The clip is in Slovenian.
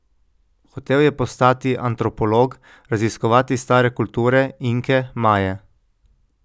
Hotel je postati antropolog, raziskovati stare kulture, Inke, Maje.